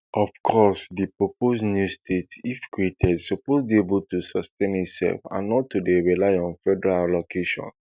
of course di proposed new states if created suppose dey able to sustain itself and not to dey rely on federal allocation